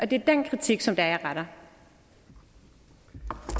det er den kritik som jeg retter